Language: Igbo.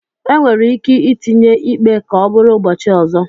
Enwere ike itinye ikpe ka ọ bụrụ ụbọchị ọzọ